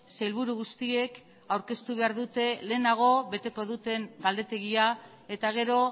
sailburu guztiek aurkeztu behar dute lehenago beteko duten galdetegia eta gero